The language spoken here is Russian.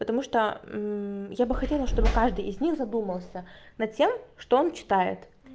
потому что я бы хотела чтобы каждый из них задумался над тем что он читает